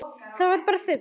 Þetta var bara fugl!